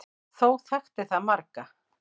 Þó þekkti það marga.